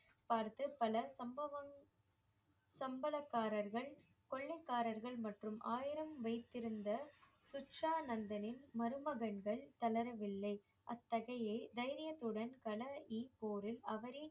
பார்த்து பல சம்பவம் சம்பளக்காரர்கள் கொள்ளைக்காரர்கள் மற்றும் ஆயிரம் வைத்திருந்த சுச்சா நந்தனின் மருமகன்கள் தளரவில்லை அத்தகையை தைரியத்துடன் போரில் அவரே